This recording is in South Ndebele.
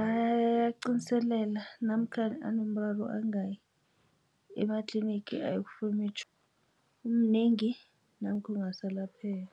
ayaqiniselela namkhana anomraro angayi ematlinigi ayokufuna imitjhoga umnengi namkha ungasalapheki.